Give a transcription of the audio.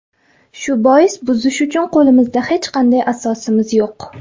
Shu bois buzish uchun qo‘limizda hech qanday asosimiz yo‘q.